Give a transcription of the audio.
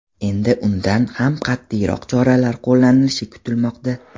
Endi undan ham qat’iyroq choralar qo‘llanishi kutilmoqda.